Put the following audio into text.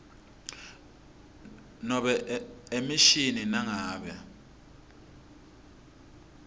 nobe emishini nangabe